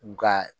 U ka